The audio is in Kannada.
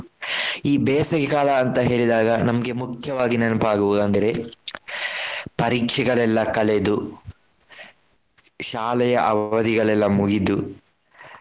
ಈ ಬೇಸಗೆಕಾಲ ಅಂತ ಹೇಳಿದಾಗ ನಮ್ಗೆ ಮುಖ್ಯವಾಗಿ ನೆನಪಾಗುವುದು ಅಂದ್ರೆ ಪರೀಕ್ಷೆಗಳೆಲ್ಲ ಕಳೆದು ಶಾಲೆಯ ಅವಧಿಗಳೆಲ್ಲ ಮುಗಿದು.